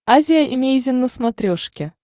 азия эмейзин на смотрешке